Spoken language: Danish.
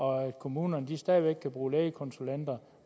og at kommunerne stadig væk kan bruge lægekonsulenter